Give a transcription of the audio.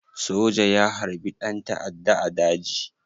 Soja ya harbi ɗan ta'adda a daji?